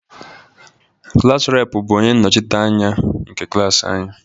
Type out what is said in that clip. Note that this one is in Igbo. Klass reepụ bụ onye nnọchiteanya nke klaasị anyi.